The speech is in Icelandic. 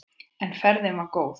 En ferðin var góð.